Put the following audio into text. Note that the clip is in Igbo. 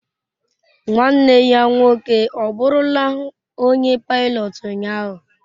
nwanne ya nwoke ọbụrụla onye pilọt ụnyaahụ?